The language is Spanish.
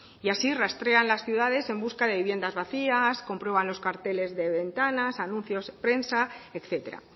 así rastrean las ciudades en busca de viviendas vacías comprueban los carteles de ventanas anuncios de prensa etcétera